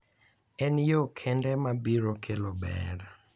En yo kende ma biro kelo ber .